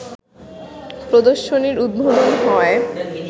প্রদর্শনীর উদ্বোধন হয়